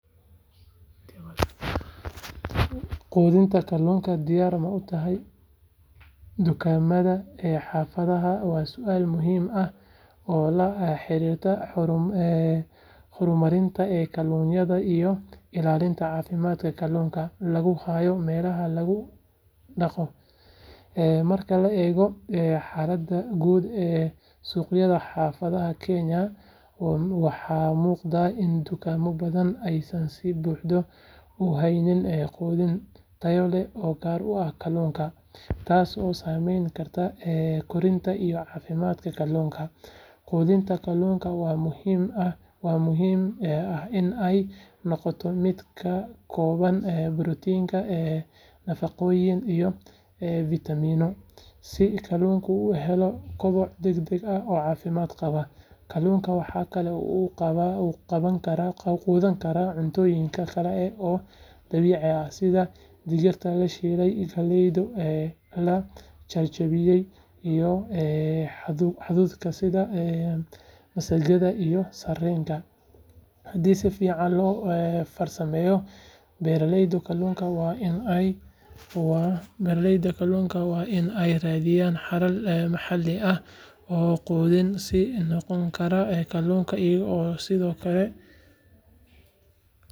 Quudinta kalluunka diyaar ma u tahay dukaamada xaafaddaada waa su’aal muhiim ah oo la xiriirta horumarinta kalluumeysiga iyo ilaalinta caafimaadka kalluunka lagu hayo meelaha lagu dhaqdo. Marka la eego xaaladda guud ee suuqyada xaafadaha Kenya, waxaa muuqata in dukaamo badan aysan si buuxda u haynin quudin tayo leh oo gaar u ah kalluunka, taasoo saameyn karta korriimada iyo caafimaadka kalluunka. Quudinta kalluunka waxaa muhiim ah in ay noqoto mid ka kooban borotiinno, nafaqooyin iyo fitamiinno si kalluunka u helo koboc degdeg ah oo caafimaad qaba. Kalluunka waxaa kale oo uu qaadan karaa cuntooyin kale oo dabiici ah sida digirta la shiiday, galleyda la jajabiyey, iyo hadhuudhka sida masagada iyo sarreenka, haddii si fiican loo farsameeyo. Beeraleyda kalluunka waa in ay raadiyaan xalal maxalli ah oo quudin u noqon kara kalluunka iyaga oo sidoo kale.